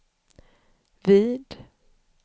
vid